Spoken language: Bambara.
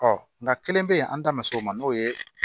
nka kelen bɛ yen an ta bɛ se o ma n'o ye